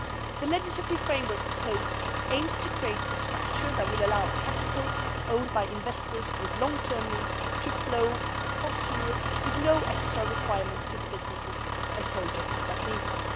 The legislative framework proposed aims to create a structure that will allow capital owned by investors with long term needs to flow across Europe with no extra requirements from the business and projects that need it.